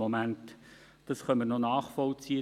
Das können wir nachvollziehen;